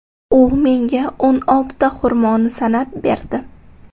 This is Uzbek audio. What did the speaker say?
U menga o‘n oltita xurmoni sanab berdi.